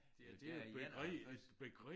I der i 51